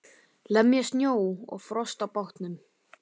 Lemja snjó og frost af bátnum.